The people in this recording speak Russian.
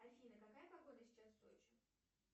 афина какая погода сейчас в сочи